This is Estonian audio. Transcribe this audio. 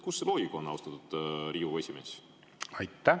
Kus see loogika on, austatud Riigikogu esimees?